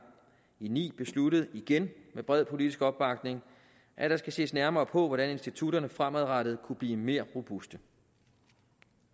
ni besluttet igen med bred politisk opbakning at der skal ses nærmere på hvordan institutterne fremadrettet kunne blive mere robuste